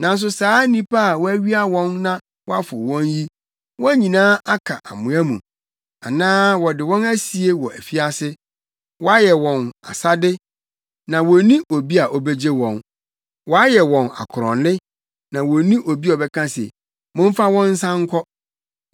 Nanso saa nnipa a wɔawia wɔn na wɔafow wɔn yi, wɔn nyinaa aka amoa mu anaa wɔde wɔn asie wɔ afiase. Wɔayɛ wɔn asade na wonni obi a obegye wɔn; wɔayɛ wɔn akorɔnne na wonni obi a ɔbɛka se, “Momfa wɔn nsan nkɔ.”